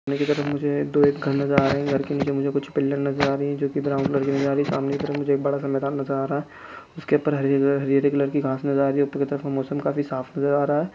मुझे अ दो घर नज़र आ रहे हैं घर के नीचे मुझे कुछ पिल्लर नज़र आ रही है जो कि ब्राउन कलर की नज़र आ रही है सामने की तरफ मुझे एक बड़ा सा मैदान नज़र आ रहा है उस के ऊपर हरी हरी कलर की घास नज़र आ रही है ऊपर की तरफ मौसम काफी साफ़ नज़र आ रहा है।